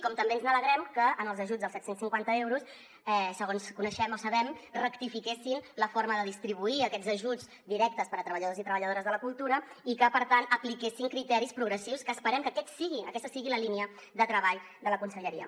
com també ens alegrem que en els ajuts dels set cents i cinquanta euros segons coneixem o sabem rectifiquessin la forma de distribuir aquests ajuts directes per a treballadors i treballadores de la cultura i que per tant apliquessin criteris progressius que esperem que aquesta sigui la línia de treball de la conselleria